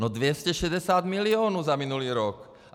No 260 milionů za minulý rok.